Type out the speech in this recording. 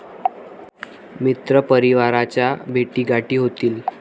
मित्रपरिवाराच्या भेटीगाठी होतील.